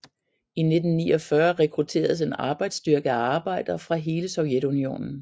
I 1949 rekrutteredes en arbejdsstyrke af arbejdere fra hele Sovjetunionen